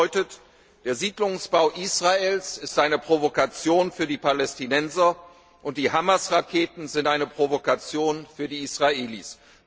Das bedeutet, der Siedlungsbau Israels ist eine Provokation für die Palästinenser und die Hamas Raketen sind eine Provokation für die Israelis.